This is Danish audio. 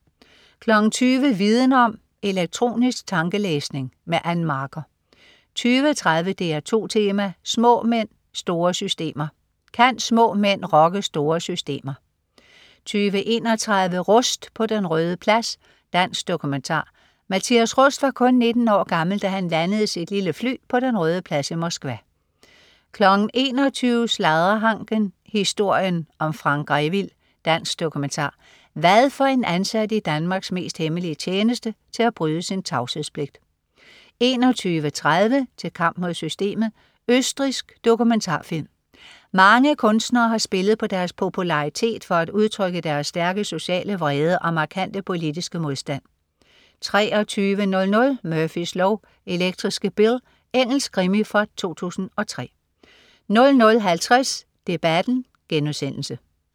20.00 Viden Om: Elektronisk tankelæsning. Ann Marker 20.30 DR2 Tema: Små mænd, Store Systemer. Kan små mænd rokke store systemer? 20.31 Rust på Den Røde Plads. Dansk dokumentar. Mathias Rust var kun 19 år gammel, da han landede sit lille fly på Den Røde Plads i Moskva 21.00 Sladrehanken. Historien om Frank Grevil. Dansk dokumentar. Hvad får en ansat i Danmarks mest hemmelige tjeneste til at bryde sin tavshedspligt? 21.30 Til kamp mod systemet. Østrigsk dokumentarfilm. Mange kunstnere har spillet på deres popularitet for at udtrykke deres stærke sociale vrede og markante politiske modstand 23.00 Murphys lov: Elektriske Bill. Engelsk krimi fra 2003 00.50 Debatten*